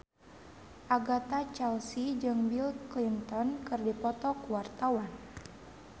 Agatha Chelsea jeung Bill Clinton keur dipoto ku wartawan